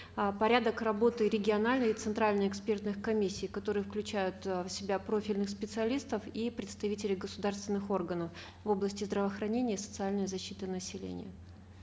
э порядок работы региональной и центральной экспертных комиссий которые включают э в себя профильных специалистов и представителей государственных органов в области здравоохранения и социальной защиты населения